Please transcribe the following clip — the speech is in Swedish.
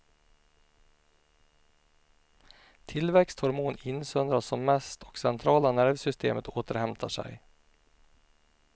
Tillväxthormon insöndras som mest och centrala nervsystemet återhämtar sig.